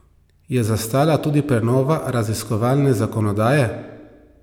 Je zastala tudi prenova raziskovalne zakonodaje?